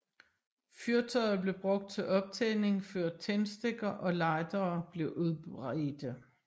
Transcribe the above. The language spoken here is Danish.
Fyrtøjet blev brugt til optænding før tændstikker og lightere blev udbredte